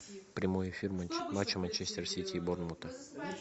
прямой эфир матча манчестер сити и борнмута